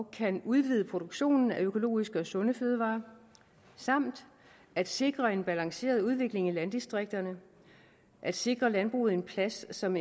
kan udvide produktionen af økologiske og sunde fødevarer samt at sikre en balanceret udvikling i landdistrikterne at sikre landbruget en plads som